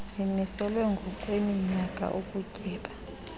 zimiselwa ngokweminyaka ukutyeba